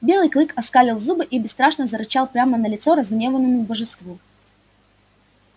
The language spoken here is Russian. белый клык оскалил зубы и бесстрашно зарычал прямо на лицо разгневанному божеству